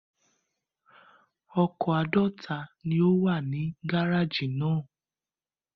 Ọkọ̀ àádọ́ta ni ó wà ní gárájì náà.